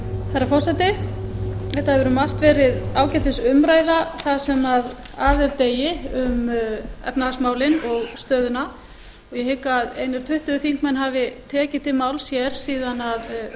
herra forseti þetta hefur um margt verið ágætis umræða það sem af er degi um efnahagsmálin og stöðuna ég hygg að einir tuttugu þingmenn hafi tekið til máls hér síðan að